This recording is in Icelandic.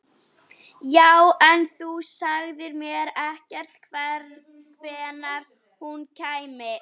Já, en þú sagðir mér ekkert hvenær hún kæmi.